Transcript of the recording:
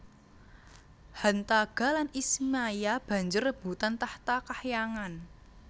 Hantaga lan Ismaya banjur rebutan tahta kahyangan